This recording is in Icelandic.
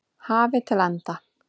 hafi til enda.